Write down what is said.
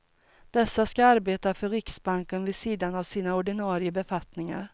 Dessa ska arbeta för riksbanken vid sidan av sina ordinarie befattningar.